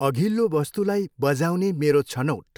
अघिल्लो वस्तुलाई बजाउने मेरो छनौट।